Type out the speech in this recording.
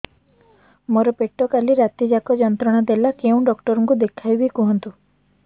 ମୋର ପେଟ କାଲି ରାତି ଯାକ ଯନ୍ତ୍ରଣା ଦେଲା କେଉଁ ଡକ୍ଟର ଙ୍କୁ ଦେଖାଇବି କୁହନ୍ତ